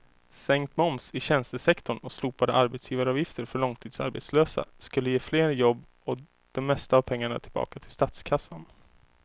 Sänkt moms i tjänstesektorn och slopade arbetsgivaravgifter för långtidsarbetslösa skulle ge fler jobb och det mesta av pengarna tillbaka till statskassan.